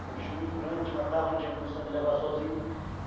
Um bicho muito grande, te matava, não tinha condição de levar sozinho.